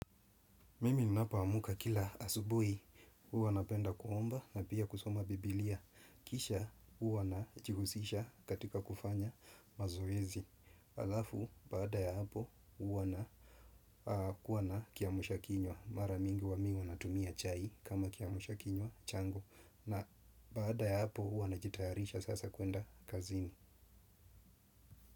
Mimi ninapoamka kila asubuhi huwa napenda kuomba na pia kusoma bibilia. Kisha huwa najihusisha katika kufanya mazoezi. Alafu, baada ya hapo huwa na kuwa na kiamsha kinywa. Mara mingi huwa mimi natumia chai kama kiamsha kinywa changu. Na baada ya hapo huwa na jitayarisha sasa kuenda kazini.